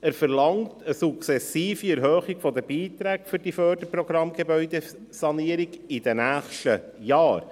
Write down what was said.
Er verlangt eine sukzessive Erhöhung der Beiträge für die Förderprogramme «Gebäudesanierung» in den nächsten Jahren.